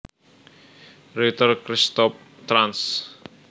Reuter Christoph trans